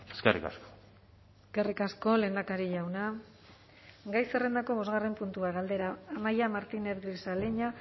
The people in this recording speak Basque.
eskerrik asko eskerrik asko lehendakari jauna gai zerrendako bosgarren puntua galdera amaia martínez grisaleña